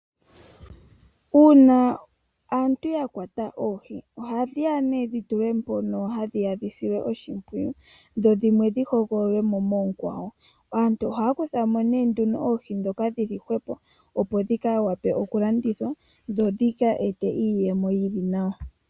Uuna aantu ya kwata oohi ohadhi ya nee dhi tulwe mpono hadhi ya dhi silwe oshimpwiyu dho dhimwe dhi hogololwe mo moonkwawo. Aantu ohaya kuthamo nee nduno oohi ndhoka dhili hwepo opo dhi vule okulandithwa dho dhi ete po iiyemo yili nawa.